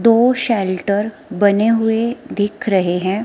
दो शेल्टर बने हुए दिख रहे हैं।